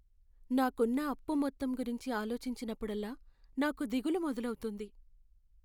నాకున్న అప్పు మొత్తం గురించి ఆలోచించినప్పుడల్లా నాకు దిగులు మొదలవుతుంది.